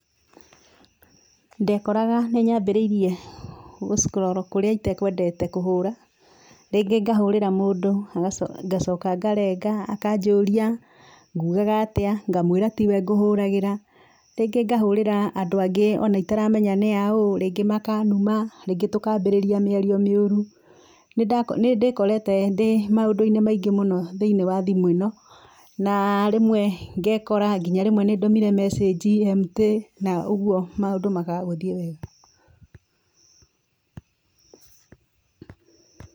Ndekoraga nĩnyambĩrĩirie gũckroro kũrĩa itekwendete kũhũra, rĩngĩ ngahũrĩra mũndũ ngacoka ngarenga, akanjũria ngũmwĩraga atĩa, ngamwĩra tiwe ngũhũragĩra. Rĩngĩ ngahũrĩra andũ angĩ ona itaramenya nĩ aaũ, rĩngĩ makanuma, rĩngĩ tũkambia mĩario mĩũru. Nĩndĩkorete ndĩ maũndũ-inĩ maingĩ mũno thĩinĩ wa thimũ ĩno, na rĩmwe ngekora nginya rĩmwe nĩndũmire mecĩnji emutĩ na ũguo maũndũ makaga gũthiĩ wega.